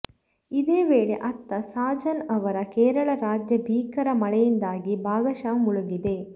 ಇದೇ ವೇಳೆ ಅತ್ತ ಸಾಜನ್ ಅವರ ಕೇರಳ ರಾಜ್ಯ ಭೀಕರ ಮಳೆಯಿಂದಾಗಿ ಭಾಗಶಃ ಮುಳುಗಿದೆ